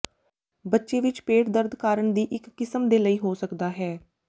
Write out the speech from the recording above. ਬੱਚੇ ਵਿਚ ਪੇਟ ਦਰਦ ਕਾਰਨ ਦੀ ਇੱਕ ਕਿਸਮ ਦੇ ਲਈ ਹੋ ਸਕਦਾ ਹੈ